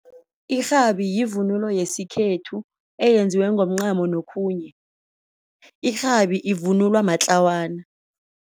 Irhabi yivunulo yesikhethu eyenziwe ngomncamo nokhunye irhabi ivunulwa matlawana.